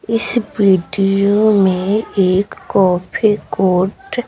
इस वीडियो में एक कॉफी कोट --